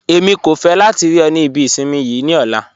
Ẹ̀mi kò fẹ́ látì rí ọ̀ ní ìbí ìṣinmí yii ní ọ̀lá